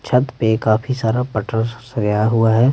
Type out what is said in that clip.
छत पे काफी सारा पटर गया है।